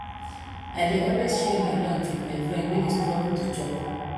i dey always share my lunch wit my friend wey dey struggle to chop